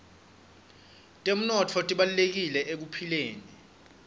temnotfo tibalulekile ekuphileni